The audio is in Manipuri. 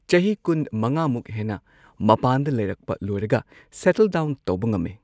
ꯆꯍꯤ ꯀꯨꯟ ꯃꯉꯥꯃꯨꯛ ꯍꯦꯟꯅ ꯃꯄꯥꯟꯗ ꯂꯩꯔꯛꯄ ꯂꯣꯏꯔꯒ ꯁꯦꯇꯜ ꯗꯥꯎꯟ ꯇꯧꯕ ꯉꯝꯃꯦ꯫